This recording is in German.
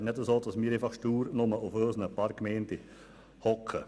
Es ist nicht so, dass wir nur stur auf unseren paar Gemeinden sitzen.